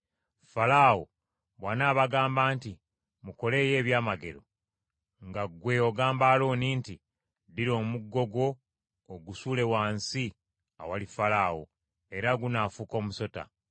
“Falaawo bw’anaabagamba nti, ‘Mukoleeyo ekyamagero,’ nga ggwe ogamba Alooni nti, ‘Ddira omuggo gwo ogusuule wansi awali Falaawo,’ era gunaafuuka omusota.”